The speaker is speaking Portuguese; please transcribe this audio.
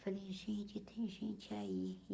Falei, gente, tem gente aí.